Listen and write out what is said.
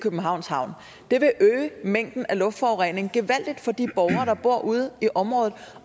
københavns havn det vil øge mængden af luftforurening gevaldigt for de borgere der bor ude i området